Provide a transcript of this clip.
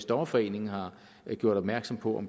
dommerforeningen har gjort opmærksom på